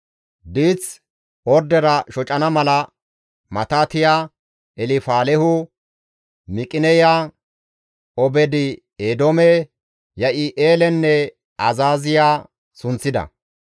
Diith ordera shocana mala Matitiya, Elfaalehu, Miqineya, Obeed-Eedoome, Yi7i7eelenne Azaaziya sunththida.